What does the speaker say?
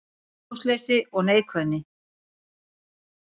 Húmorsleysi og neikvæðni